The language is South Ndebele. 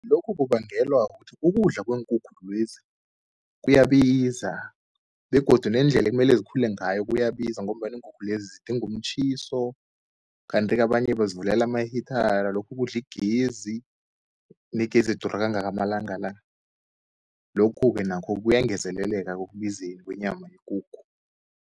Lokhu kubangelwa kukuthi ukudla kweenkukhu lezi kuyabiza begodu nendlela ekumele zikhule ngayo kuyabiza, ngombana iinkukhu lezi zidinga umtjhiso. Kanti-ke abanye bazivulela ama-heater lokhu kudla igezi, negezi idura kangaka amalanga la. Lokhu-ke nakho kuyangezeleleka ekubizeni kwenyama yekukhu.